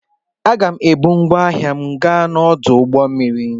Aga m ebu ngwá ahịa m gaa n'ọdụ ụgbọ mmiri.